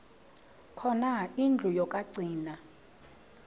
khona indlu yokagcina